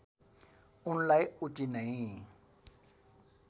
उनलाई उति नै